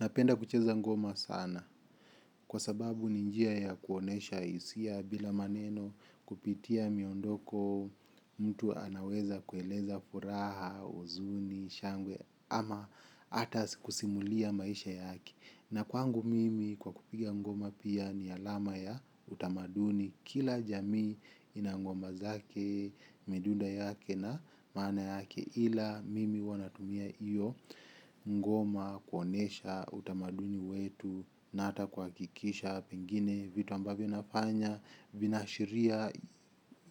Napenda kucheza ngoma sana kwa sababu ni njia ya kuonesha isia bila maneno kupitia miondoko mtu anaweza kueleza furaha, uzuni, shangwe ama ata kusimulia maisha yake. Na kwangu mimi kwa kupiga ngoma pia ni alama ya utamaduni kila jamii ina ngoma zake, midunda yake na maana yake ila mimi huwa natumia iyo ngoma kuonesha utamaduni wetu na ata kwakikisha pengine vitu ambavyo nafanya vinaashiria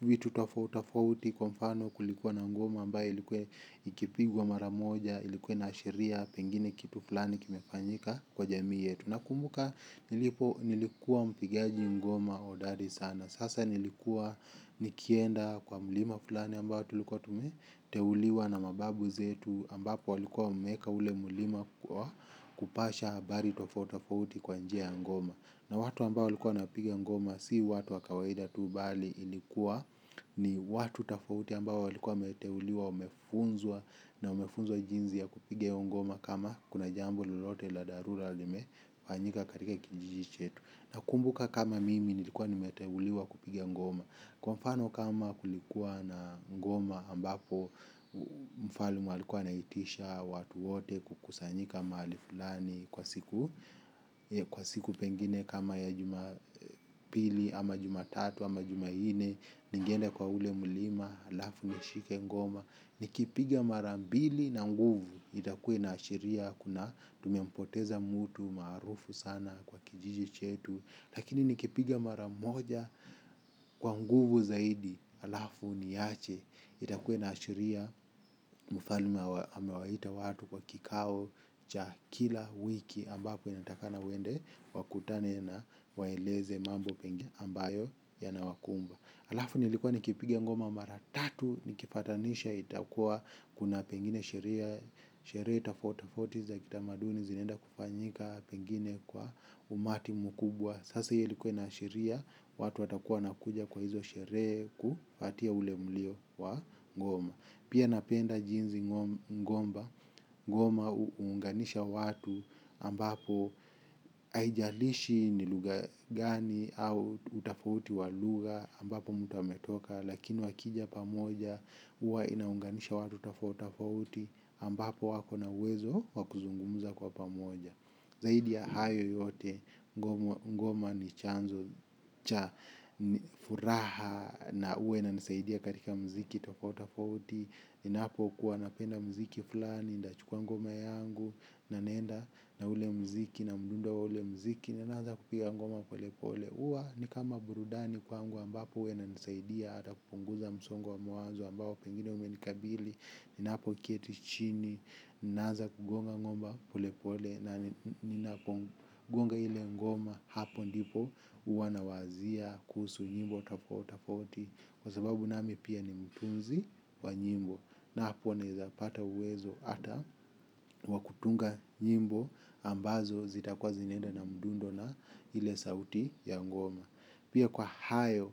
vitu tafouti kwa mfano kulikuwa na ngoma ambaye ilikuwa ikipigwa mara moja ilikuwa inaashiria pengine kitu fulani kimefanyika kwa jamii yetu nakumbuka nilikuwa mpigaji ngoma odari sana. Sasa nilikuwa nikienda kwa mlima fulani ambayo tulikuwa tumeteuliwa na mababu zetu ambapo walikuwa wameeka ule mlima kupasha abari tofouti tofauti kwa njia ya ngoma. Na watu ambao walikuwa wanapiga ngoma si watu wa kawaida tu bali ilikuwa ni watu tafauti ambao walikuwa wameteuliwa wamefunzwa na wamefunzwa jinzi ya kupiga hio ngoma kama kuna jambo lolote la darura lime fanyika katika kijiji chetu nakumbuka kama mimi nilikuwa nimeteuliwa kupiga ngoma kwa mfano kama kulikuwa na ngoma ambapo mfalme alikuwa anaitisha watu wote kukusanyika mahali fulani kwa siku kwa siku pengine kama ya juma pili ama jumatatu ama jumaine ningeenda kwa ule mlima alafu nishike ngoma nikiipiga mara mbili na nguvu itakua inaashiria kuna tumempoteza mutu maarufu sana kwa kijiji chetu lakini nikipiga mara moja kwa nguvu zaidi alafu niache itakua inaashiria mfalme amewaita watu kwa kikao cha kila wiki ambapo inatakikana waende wakutane na waeleze mambo mengi ambayo yanawakumba alafu nilikua nikipiga ngoma mara tatu nikipatanisha itakua kuna vengine sheria sheria tafauti tafauti za kitamaduni zinaenda kufanyika pengine kwa umati mkubwa sasa hiyo ilikua inaashiria watu watakuwa wanakuja kwa hizo sheree kufatia ule mlio wa ngoma. Pia napenda jinzi ngomba, ngoma uunganisha watu ambapo aijalishi ni lugha gani au utafauti wa lugha ambapo mtu ametoka lakini wakija pamoja, uwa inaunganisha watu tafauta tofauti ambapo wakona uwezo wa kuzungumuza kwa pamoja zaidi ya hayo yote ngoma ni chanzo cha furaha na uwa inanisaidia katika mziki tafauti tafauti ninapo kuwa napenda mziki fulani ndachukua ngoma yangu na naenda na ule mziki na mdundo wa ule mziki na naaza kupiga ngoma pole pole uwa ni kama burudani kwangu ambapo uwa inanisaidia ata kupunguza msongo wa mawazo ambapo pengine umenikabili napo keti chini naanza kugonga ngoma pole pole kugonga ile ngoma hapo ndipo uwa nawazia kuhusu nyimbo tafauti tafauti kwa sababu nami pia ni mtunzi wa nyimbo na hapo neza pata uwezo ata wa kutunga nyimbo ambazo zitakua zinaeda na mdundo na ile sauti ya ngoma. Pia kwa hayo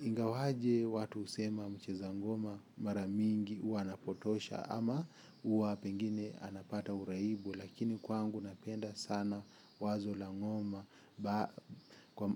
ingawaje watu usema mcheza ngoma mara mingi uwa anapotosha ama uwa pengine anapata uraibu lakini kwangu napenda sana wazo la ngoma.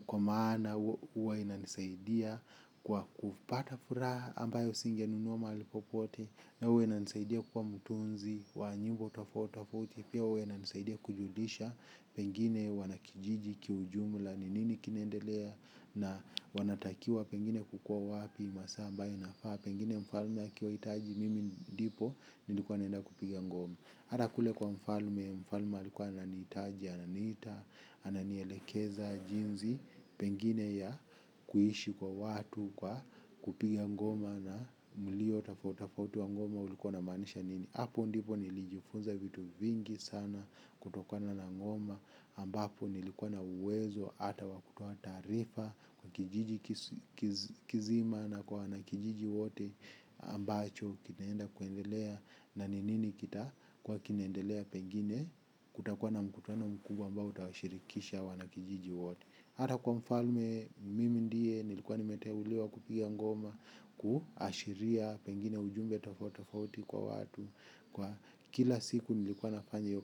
Kwa maana uwa inanisaidia kwa kupata furaha ambayo singe nunua maali popote. Na uwa inanisaidia kuwa mtunzi wa nyimbo tafauti tafauti. Pia uwa inanisaidia kujulisha pengine wanakijiji kiujumla ni nini kinaendelea. Na wanatakiwa pengine kukua wapi masaq ambayo inafaa pengine mfalme akiwaitaji mimi ndipo nilikuwa naenda kupiga ngoma. Hata kule kwa mfalme mfalme alikuwa ananiitaji, ananiita, ananielekeza jinzi pengine ya kuishi kwa watu kwa kupiga ngoma na mlio tafauti tafauti wa ngoma ulikuwa unamaanisha nini. Hapo ndipo nilijifunza vitu vingi sana kutokana na ngoma ambapo nilikuwa na uwezo hata wa kutoa taarifa kwa kijiji kizima na kwa wanakijiji wote ambacho kinaenda kuendelea na ni nini kitakua kinaendelea pengine kutakuwa na mkutano mkubwa ambao utawashirikisha wana kijiji wote hata kwa mfalme mimi ndiye nilikuwa nimeteuliwa kupiga ngoma kuashiria pengine ujumbe tafauti tafauti kwa watu kwa kila siku nilikuwa nafanya iyo ka.